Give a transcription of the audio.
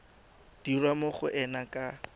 dirwa mo go ena ka